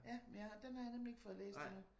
Ja men jeg den har jeg nemlig ikke fået læst endnu